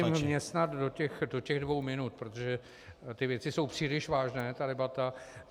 Já to zkusím vměstnat do těch dvou minut, protože ty věci jsou příliš vážné, ta debata.